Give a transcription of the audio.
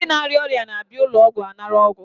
Ndị na-arịa ọrịa na-abịa n'ụlọọgwụ ịnara ọgwụ